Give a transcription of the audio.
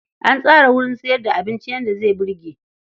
An tsara wurin sayar da abinci yadda zai burge.